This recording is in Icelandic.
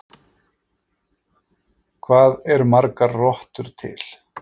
Hvað eru margar rottur til?